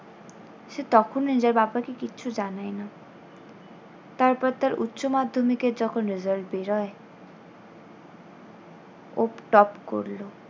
সে তখনও নিজের বাবাকে কিচ্ছু জানায় না। তারপর তার উচ্চমাধ্যমিকে যখন result বেরোয় ও প top করলো।